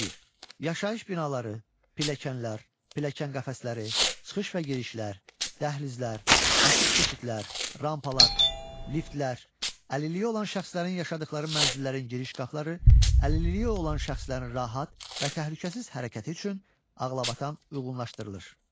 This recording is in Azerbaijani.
Yaşayış binaları, pilləkənlər, pilləkən qəfəsləri, çıxış və girişlər, dəhlizlər, açıq keçidlər, rampalar, liftlər, əlilliyi olan şəxslərin yaşadıqları mənzillərin giriş qapıları əlilliyi olan şəxslərin rahat və təhlükəsiz hərəkəti üçün ağlabatan uyğunlaşdırılır.